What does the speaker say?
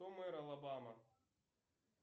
кто мэр алабама